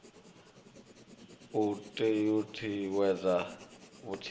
u t ut uwedza vhuthihi